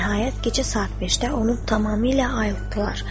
Nəhayət gecə saat 5-də onu tamamilə ayıltdılar.